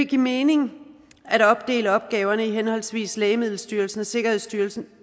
give mening at opdele opgaverne i henholdsvis lægemiddelstyrelsen og sikkerhedsstyrelsen